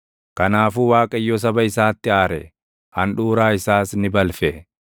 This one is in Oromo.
Kanaafuu Waaqayyo saba isaatti aare; handhuuraa isaas ni balfe.